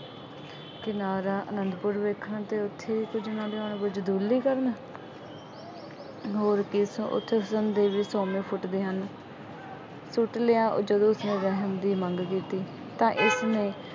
ਕਿਨਾਰਾ ਆਨੰਦਪੁਰ ਵੇਖਣ ਤੇ ਅਤੇ ਉੱਥੇ ਕੁੱਝ ਨਾ ਉਹਨਾ ਦੇ ਕਰਨ